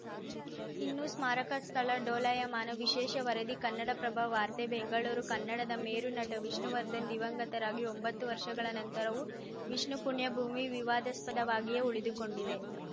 ಇನ್ನೂ ಸ್ಮಾರಕ ಸ್ಥಳ ಡೋಲಾಯಮಾನ ವಿಶೇಷ ವರದಿ ಕನ್ನಡಪ್ರಭ ವಾರ್ತೆ ಬೆಂಗಳೂರು ಕನ್ನಡದ ಮೇರುನಟ ವಿಷ್ಣುವರ್ಧನ್‌ ದಿವಂಗತರಾಗಿ ಒಂಬತ್ತು ವರ್ಷಗಳ ನಂತರವೂ ವಿಷ್ಣು ಪುಣ್ಯಭೂಮಿ ವಿವಾದಾಸ್ಪದವಾಗಿಯೇ ಉಳಿದುಕೊಂಡಿದೆ